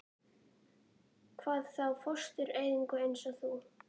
Hvað þá fóstureyðingu- eins og þú.